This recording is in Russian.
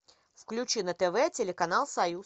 включи на тв телеканал союз